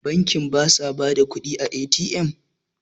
bankin ba sa ba da kudi a A.T.M?